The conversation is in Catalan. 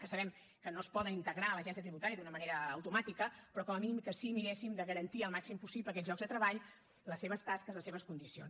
que sabem que no es poden integrar a l’agència tributària d’una manera automàtica però com a mínim que sí que miréssim de garantir el màxim possible aquests llocs de treball les seves tasques les seves condicions